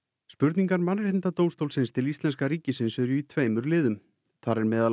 spurningar Mannréttindadómstólsins til íslenska ríkisins eru í tveimur liðum þar er meðal